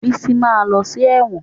Bísí ma lọ sí ẹ̀wọ̀n